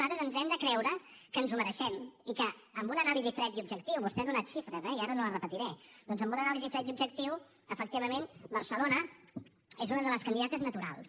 nosaltres ens hem de creure que ens ho mereixem i que amb una anàlisi freda i objectiva vostè ha donat xifres eh i ara no les repetiré doncs amb una anàlisi freda i objectiva efectivament barcelona és una de les candidates naturals